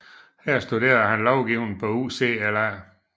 Her studerede han lovgivning på UCLA